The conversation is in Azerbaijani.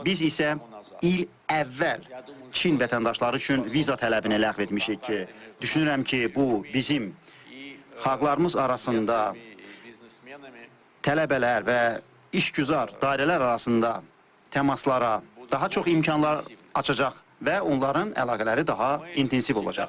Biz isə il əvvəl Çin vətəndaşları üçün viza tələbini ləğv etmişik ki, düşünürəm ki, bu bizim xalqlarımız arasında tələbələr və işgüzar dairələr arasında təmaslara daha çox imkanlar açacaq və onların əlaqələri daha intensiv olacaqdır.